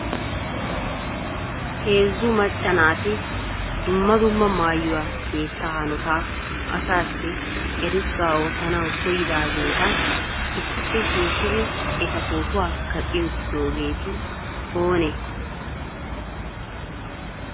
Heezzu macca naati dumma dumma maayyuwa sihetta hanotaa asassi eerissuwaa oottanaw koyiddaageeta issippe shiishshidi eta potuwaa kaqqi uttidoogeeti oone ?